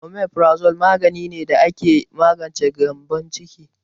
Omeprazole magani ne da ake magance gyembon ciki.